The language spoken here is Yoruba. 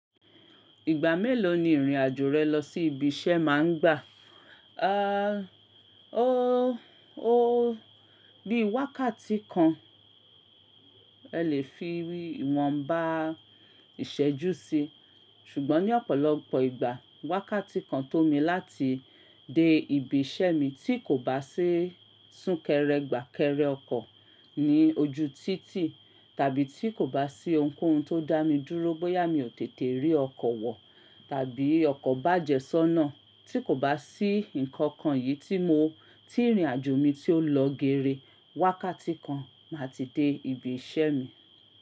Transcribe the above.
Ìgbà mélòó ni ìrìn àjò rẹ lọ sí ibi iṣẹ́ má ń gbà? Aà, oóó, bí wákàtí kan ẹ lè fi bí ìwọ̀nbá ìṣẹ́jú sí, ṣùgbọ́n ní ọ̀pọ̀lọpọ̀ ìgbà, wákàtí kan tó mi láti dé ibi iṣẹ́ mi tí kò bá sí sún kẹrẹ, gbà kẹrẹ ọkọ̀ ní ojú títì tàbí tí kò bá sí ohunkóhun tó dá mi dúró bóyá mi ò tètè rí ọkọ̀ wọ̀ tàbí ọkọ̀ bàjẹ́ sọ́nà tí kò bá sí nǹkan kan yìí tí mo, tí ìrìn àjò mi tí ó lọ gére, wákàtí kan máa ti dé ibi iṣẹ́ mi.